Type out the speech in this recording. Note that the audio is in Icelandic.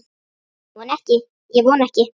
Ég vona ekki.